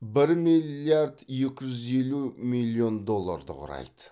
бір миллиард екі жүз елу миллион долларды құрайды